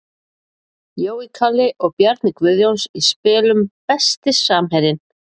Jói Kalli og Bjarni Guðjóns í spilum Besti samherjinn?